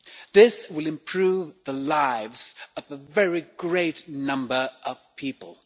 This will improve the lives of a very great number of people.